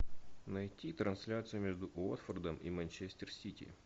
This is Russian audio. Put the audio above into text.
найти трансляцию между уотфордом и манчестер сити